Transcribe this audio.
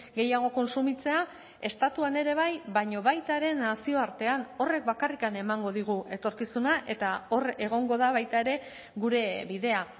gehiago kontsumitzea estatuan ere bai baina baita ere nazioartean horrek bakarrik emango digu etorkizuna eta hor egongo da baita ere gure bidea